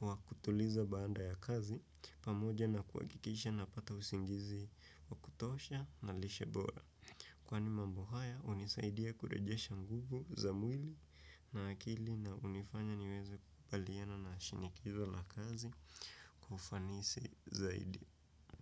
wa kutuliza baanda ya kazi pamoja na kuakikisha napata usingizi wa kutosha na lishebora. Kwani mambo haya unisaidia kurejesha nguvu za mwili na akili na unifanya niweze kubaliana na shinikizo na kazi kwa ufanisi zaidi.